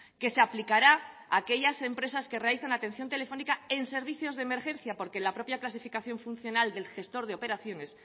que se aplicará a aquellas empresas que realizan atención telefónica en servicios de emergencia porque la propia clasificación funcional del gestor de operaciones